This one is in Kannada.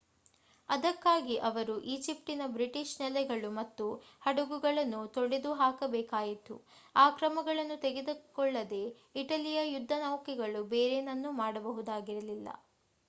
ಅದಕ್ಕಾಗಿ ಅವರು ಈಜಿಪ್ಟ್‌ನ ಬ್ರಿಟಿಷ್ ನೆಲೆಗಳು ಮತ್ತು ಹಡಗುಗಳನ್ನು ತೊಡೆದುಹಾಕಬೇಕಾಯಿತು. ಆ ಕ್ರಮಗಳನ್ನು ತೆಗೆದಕೊಳ್ಳದೇ ಇಟಲಿಯ ಯುದ್ಧನೌಕೆಗಳು ಬೇರೇನನ್ನೂ ಮಾಡಬೇಕಾಗಿರಲಿಲ್ಲ